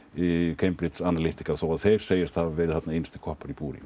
Cambridge Analytica þó að þeir segist hafa verið innsti koppur í búri